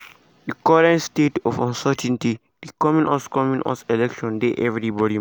di current state of uncertainty di coming us coming us election dey everybody mind.